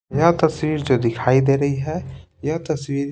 यह तस्वीर जो दिखाई दे रही है यह तस्वीर--